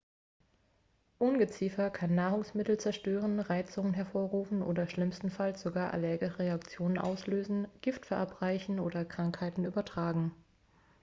ungeziefer kann nahrungsmittel zerstören reizungen hervorrufen oder schlimmstenfalls sogar allergische reaktionen auslösen gift verabreichen oder krankheiten übertragen